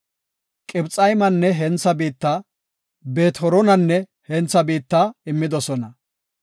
Qibxaymanne hentha biitta, Beet-Horonanne hentha biitta immidosona.